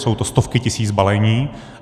Jsou to stovky tisíc balení.